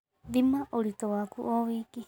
Thima ũritu waku o wiki